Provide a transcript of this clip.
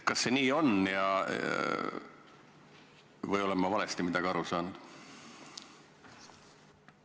Kas see on nii või olen ma millestki valesti aru saanud?